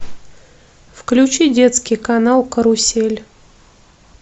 включи детский канал карусель